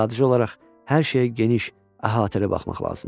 Sadəcə olaraq hər şeyə geniş, əhatəli baxmaq lazımdır.